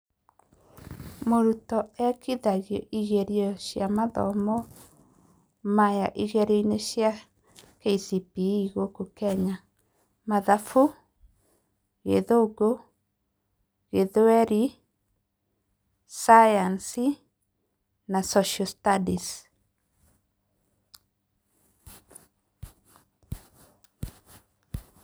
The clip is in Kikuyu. Mũrutwo ekithagio ĩgerio cĩa mathomo maya igerio-inĩ cia KCPE gũkũ Kenya; mathabu, gĩthũngũ, gĩthweri cayanici na social studies.